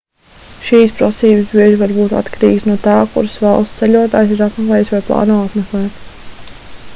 šīs prasības bieži var būt atkarīgas no tā kuras valstis ceļotājs ir apmeklējis vai plāno apmeklēt